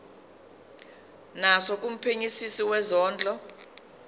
naso kumphenyisisi wezondlo